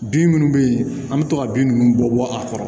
Bin minnu bɛ yen an bɛ to ka bin ninnu bɔ a kɔrɔ